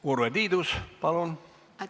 Urve Tiidus, palun!